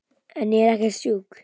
En ég er ekkert sjúk.